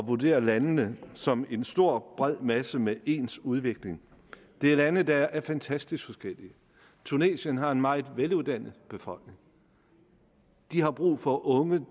vurdere landene som en stor bred masse med ens udvikling det er lande der er fantastisk forskellige tunesien har en meget veluddannet befolkning de har brug for unge